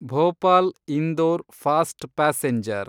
Bhopal Indore fast passenger